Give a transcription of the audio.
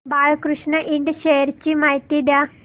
Balkrishna ind shares ची माहिती द्या